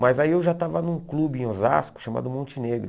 Mas aí eu já estava num clube em Osasco chamado Monte Negro.